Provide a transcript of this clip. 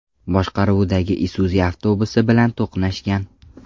boshqaruvidagi Isuzu avtobusi bilan to‘qnashgan.